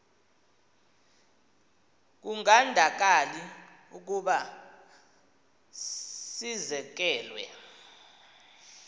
kungandakali ukuba sizekelwe